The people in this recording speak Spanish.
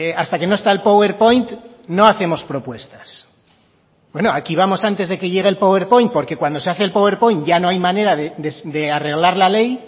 hasta que no está el powerpoint no hacemos propuestas bueno aquí vamos antes de que llegue el powerpoint porque cuando se hace el powerpoint ya no hay manera de arreglar la ley